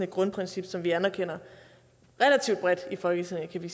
grundprincip som vi anerkender relativt bredt i folketinget